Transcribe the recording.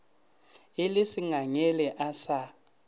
e le sengangele a sa